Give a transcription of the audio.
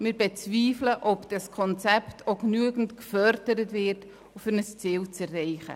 Wir bezweifeln, dass durch dieses Konzept auch genügend gefördert wird, um die Ziele zu erreichen.